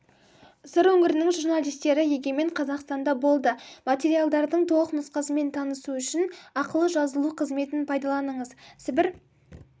сыр өңірінің журналистері егемен қазақстанда болды материалдардың толық нұсқасымен танысу үшін ақылы жазылу қызметін пайдаланыңыз сібір